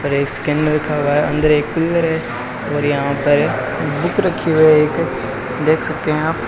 और इसके अंदर रखा हुआ है अंदर एक कूलर है और यहां पर बुक रखी हुई है एक देख सकते हैं आप।